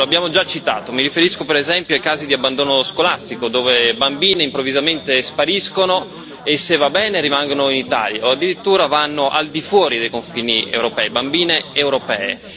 Lo abbiamo già citato mi riferisco per esempio ai casi di abbandono scolastico, dove bambine europee improvvisamente spariscono e, se va bene, rimangono in Italia o addirittura vanno al di fuori dei confini europei.